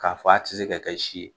K'a f'a ti se ka kɛ si ye.